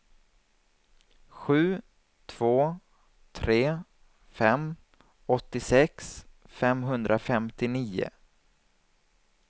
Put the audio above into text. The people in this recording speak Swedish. sju två tre fem åttiosex femhundrafemtionio